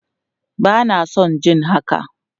Bana son jin haka!